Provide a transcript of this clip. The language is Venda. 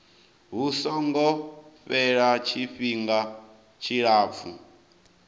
hu songo fhela tshifhinga tshilapfu